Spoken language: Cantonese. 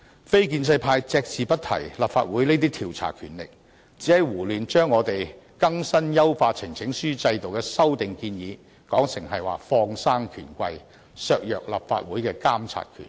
非建制派隻字不提立法會這些調查權力，只是胡亂把我們優化呈請書制度的修訂建議說成是放生權貴、削弱立法會的監察權。